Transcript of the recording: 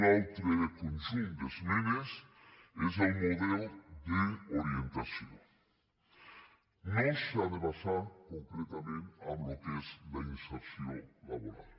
un altre conjunt d’esmenes és el model d’orientació no s’ha de basar concretament en el que és la inserció laboral